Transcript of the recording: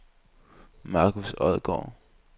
Marcus Odgaard